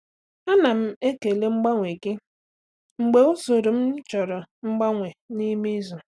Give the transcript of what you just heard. Ana m ekele mgbanwe gị mgbe usoro m chọrọ mgbanwe n'ime izu.